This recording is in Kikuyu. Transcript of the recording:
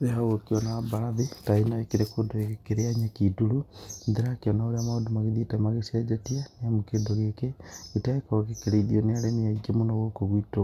Rĩrĩa ũgũkĩona mbarathi ta ĩno ĩkĩrĩ kũndũ ĩgĩkĩrĩa nyeki nduru, ndĩrakĩona ũrĩa maũndũ magĩthiĩte magĩcenjetie, nĩ amu kĩndũ gĩkĩ gĩtiragĩkorwo gĩkĩrĩithio nĩ arĩmi aingĩ mũno gũkũ gwitũ